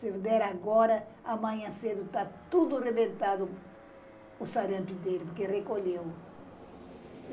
Se der agora, amanhã cedo, está tudo arrebentado, o sarampo dele, porque recolheu.